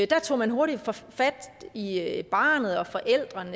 der tog man hurtigt fat i i barnet og forældrene